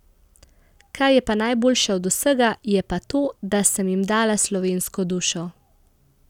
Kar je pa najboljše od vsega, je pa to, da sem jim dala slovensko dušo.